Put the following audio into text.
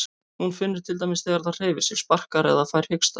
Hún finnur til dæmis þegar það hreyfir sig, sparkar eða fær hiksta.